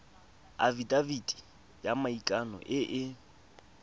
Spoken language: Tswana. afitafiti ya maikano e e